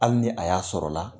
Hali ni a y'a sɔrɔla